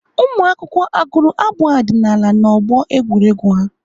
Ụmụakwụkwọ agụrụ abụ ọdịnaala ha n'ọgbọ egwuregwu ha?